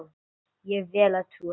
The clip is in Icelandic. Ég vel að trúa því.